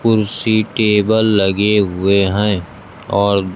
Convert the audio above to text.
कुर्सी टेबल लगे हुए हैं और।